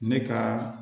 Ne ka